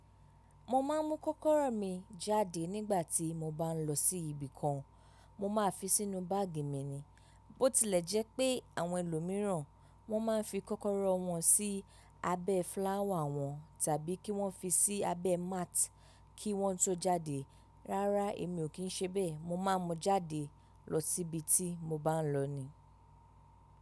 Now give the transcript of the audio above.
Mo ma ń mu kókóró mi jáde nígbà tí mo ba ń lọ sí ibi kan. Mo máa fi sínú báàgì mi ni. Bótilẹ̀ jẹ́ pé àwọn èlòmíràn, wọ́n máa ń fi kókóró wọn sí abẹ́ fláwà wọn tàbí kí wọ́n fi sí abẹ́ máàtì kí wọ́n tó jáde. Rárá, èmi ò kì í ṣe bẹ́ẹ̀. Mo máa mu jáde lọ sí ibi ti mo bá ń lọ ni.